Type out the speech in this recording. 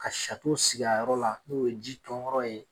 Ka sato sig'a yɔrɔ la n'o ye ji ton yɔrɔ ye